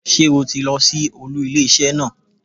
Sé o ti lọ sí olú ilé isé naa